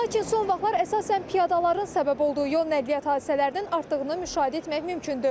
Lakin son vaxtlar əsasən piyadaların səbəb olduğu yol nəqliyyat hadisələrinin artığını müşahidə etmək mümkündür.